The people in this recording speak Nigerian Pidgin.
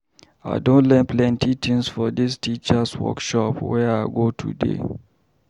I don learn plenty tins for dis teachers' workshop wey I go today.